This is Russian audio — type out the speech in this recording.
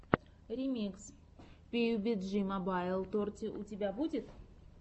ремикс пиюбиджи мобайл торти у тебя будет